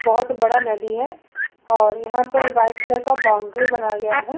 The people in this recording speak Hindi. बोहोत बड़ा नदी है और यहां पर व्हाइट कलर का बाउंड्री बनाया गया है।